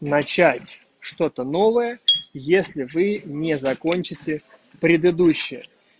начать что-то новое если вы не закончите предыдущие